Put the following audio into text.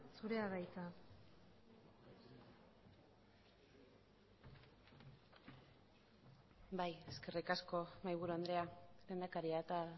zurea da hitza bai eskerrik asko mahaiburu andrea lehendakaria eta